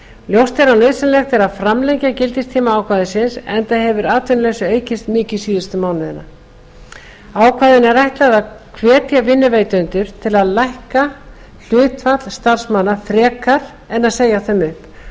ljóst er að nauðsynlegt er að framlengja gildistíma ákvæðisins enda hefur atvinnuleysi aukist mikið síðustu mánuði ákvæðinu er ætlað að hvetja vinnuveitendur til að lækka hlutfall starfsmanna frekar en að segja þeim